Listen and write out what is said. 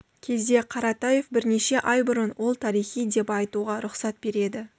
кезде қаратаев бірнеше ай бұрын ол тарихи деп айтуға рұқсат береді